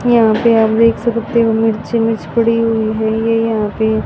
यहां पे आप देख सकते हो मिर्च ही मिर्च पड़ी हुई है ये यहां पे --